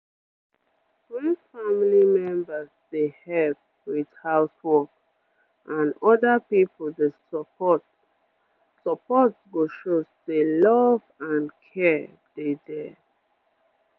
wen family members dey help with house work and oda people dey support support go show say love and care dey dere